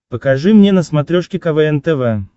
покажи мне на смотрешке квн тв